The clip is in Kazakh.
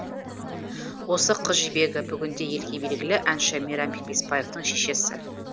осы қызжібегі бүгінде елге белгілі әнші мейрамбек беспаевтың шешесі